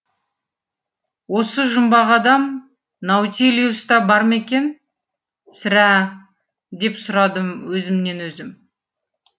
осы жұмбақ адам наутилуста бар ма екен сірә деп сұрадым мен өзімнен өзім